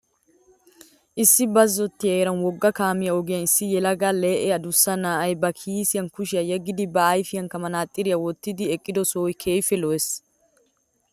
Issi bazzottiya heeran wogga kaamiya ogiyan issi yelaga lee'e adussa na'ay ba kiisiyan kushiya yeggidi ba ayifiyankka manaxiriya wottidi eqqido sohoy keehippe lo'ees.